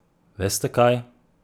Veste kaj?